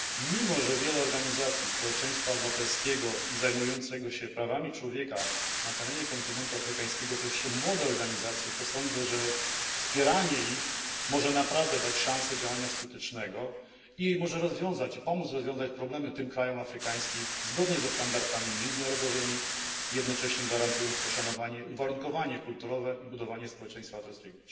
Mimo że wiele organizacji społeczeństwa obywatelskiego i zajmujących się prawami człowieka na terenie kontynentu afrykańskiego to jeszcze młode organizacje, to sądzę, że wspieranie ich może naprawdę dać szansę działania skutecznego i może rozwiązać, i pomóc rozwiązać problemy tym krajom afrykańskim zgodnie ze standardami międzynarodowymi, jednocześnie gwarantując poszanowanie, uwarunkowanie kulturowe i budowanie społeczeństwa obywatelskiego.